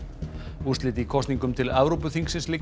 úrslit í kosningum til Evrópuþingsins liggja